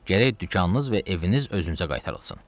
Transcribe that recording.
Gərək dükanınız və eviniz özünüzə qaytarılsın.